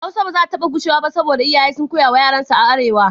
Hausa ba zata taɓa gushewa ba saboda iyaye sun koya wa yaransu a arewa